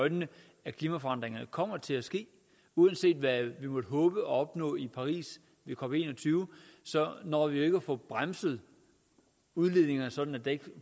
øjnene at klimaforandringerne kommer til at ske uanset hvad vi måtte håbe at opnå i paris ved cop en og tyve så når vi jo ikke at få bremset udledningerne sådan at der ikke